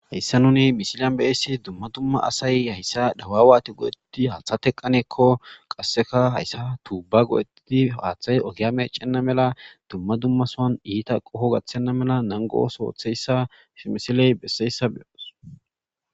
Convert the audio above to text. hayssa nuni misiliyan be7essi dumma dumma asay hayssa dawa waati godetti haaththa teqqaneekko qasseka hayssa tuubba go7hetidi haaththay ogiyame cenna mela dumma dumma soan iita qoho gaththenna mela nangos ootheyssa smisiley besseyssa beyoos